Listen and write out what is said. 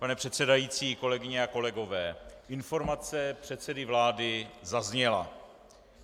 Pane předsedající, kolegyně a kolegové, informace předsedy vlády zazněla.